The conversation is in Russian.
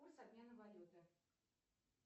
курс обмена валюты